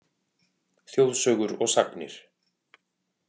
Þjóðsögur og sagnir